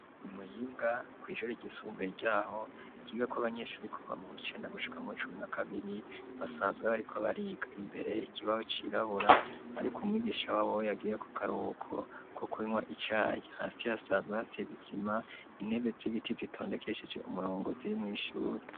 Imuyinga kw'ishure ry'isumbuye ryaho ryigako abanyeshure kuva muw'icenda gushuka mu icumi na kabiri basanzwe ariko bariga imbere kibaho cirabura ariko umwigisha waho yagiye mu karubuko ko kunywa icayi hasi hasanzwe hasizisima intebe z'ibiti zitondekeshije umurongo ziri mw'ishure